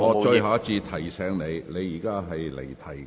我最後一次提醒你，你已離題。